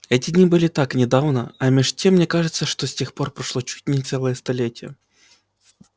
эти дни были так недавно а меж тем мне кажется что с тех пор прошло чуть не целое столетие